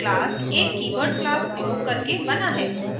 class एक keyword class प्रयोग करके बना है